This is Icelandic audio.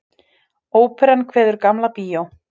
Óperan kveður Gamla bíó